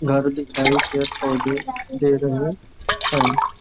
घर दिखाई पेड़ पौधे है।